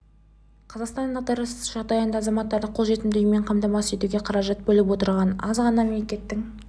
қазақстан дағдарыс жағдайында да азаматтарды қолжетімді үймен қамтамасыз етуге қаражат бөліп отырған аз ғана мемлекеттің